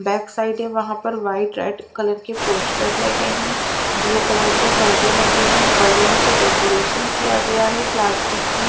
back side है वहां पे वाइट रेड कलर के पोस्टर लगे हैं ब्लू कलर के पर्दे लगे हैं बलून से डेकोरेशन किया गया है प्लास्टिक की--